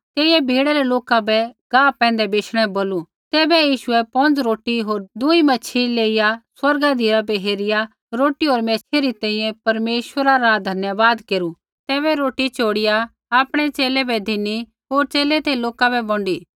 तेइयै भीड़ै रै लोका बै गाह पैंधै बैशणै बै बोलू तैबै यीशुऐ पौंज़ रोटी होर दूई मैच्छ़ी लेइया स्वर्गा धिराबै हेरिया रोटी होर मैच्छ़ी री तैंईंयैं परमेश्वरा रा धन्यवाद केरू तैबै रोटी चोड़िया आपणै च़ेले बै धिनी होर च़ेले ते लोका बै बौंडी